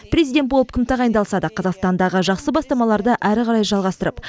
президент болып кім тағайындалса да қазақстандағы жақсы бастамаларды әрі қарай жалғастырып